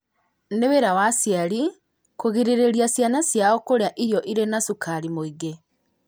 Nĩ wĩra wa aciari kũgirĩrĩria ciana ciao kũrĩa irio irĩ na cukari mũingĩ,